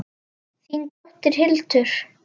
Þín dóttir Hildur.